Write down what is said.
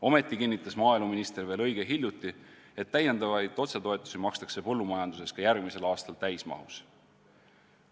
Ometi kinnitas maaeluminister veel õige hiljuti, et täiendavaid otsetoetusi makstakse põllumajanduses ka järgmisel aastal täismahus.